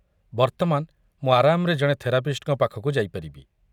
ବର୍ତ୍ତମାନ ମୁଁ ଆରାମରେ ଜଣେ ଥେରାପିଷ୍ଟଙ୍କ ପାଖକୁ ଯାଇପାରିବି।